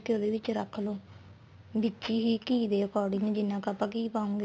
ਉਹਦੇ ਵਿੱਚ ਰੱਖ ਲੋ ਵਿੱਚ ਹੀ ਘੀ ਦੇ according ਜਿੰਨਾ ਕ ਆਪਾਂ ਘੀ ਪਾਉਗੇ